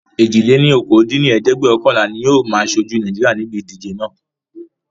èjì-lé-ní-okòó dín ní ẹ̀ẹ́dẹ́gbẹ́ọ̀kànlá ni ó máa ṣojú Naijiria níbi ìdíje naa